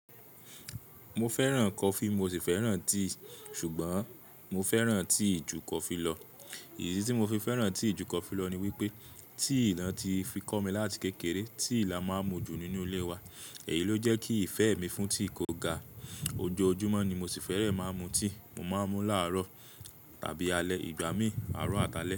Mo fẹ́ràn coffee mo sì fẹ́ràn tea, ṣùgbọ́n mo fẹ́ràn tea ju coffee lọ. Ìdí tí mo fi fẹ́ràn tea ju coffee lọ ni wípé tea latí fi kọ́ mi láti kékeré, tea la máa ń mu jù nínú ilé wa, èyí ló jẹ́ kí ìfẹ́ mi fún tea kó ga. Ojoojúmọ́ ni mo sì fẹ́rẹ̀ẹ́ máa ń mu tea, mo máa ń mu láàárọ̀ tàbí alẹ́, ìgbà mí, àárọ̀ àtàlé.